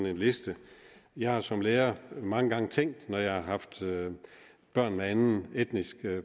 en liste jeg har som lærer mange gange tænkt når jeg har haft børn med anden etnisk